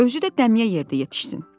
Özü də dəmiyə yerdə yetişsin.